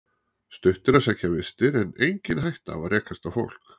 Stutt að sækja vistir en engin hætta á að rekast á fólk